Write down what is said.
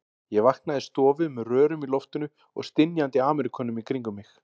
Ég vaknaði í stofu með rörum í loftinu og stynjandi Ameríkönum í kringum mig.